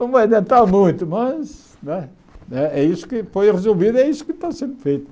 Não vai adiantar muito, mas né é isso que foi resolvido, é isso que está sendo feito.